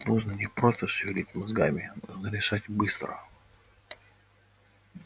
тут нужно не просто шевелить мозгами нужно решать быстро